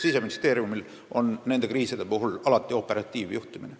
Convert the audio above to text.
Siseministeeriumi käes on niisuguste kriiside puhul alati operatiivjuhtimine.